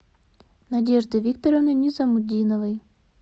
надежды викторовны низамутдиновой